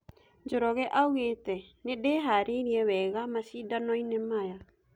Njoroge augete "Nĩndĩharĩrĩirie wega macidanoine maya"